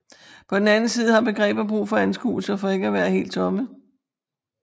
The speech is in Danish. På den anden side har begreber brug for anskuelser for ikke at være helt tomme